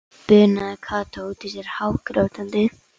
bunaði Kata út út sér hágrátandi.